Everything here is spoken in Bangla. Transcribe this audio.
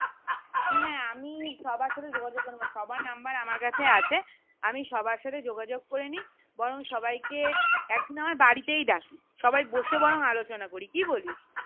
হ্যাঁ হ্যাঁ আমি সবার সাথে যোগাযোগ করে নিবো সবার number আমার কাছে আছে আমি সবার সাথে যোগাযোগ করেনি বরং সবাই কে এক দিন আমার বাড়িতেই ডাকি সবাই বসে বরং আলোচনা করি কি বলিস?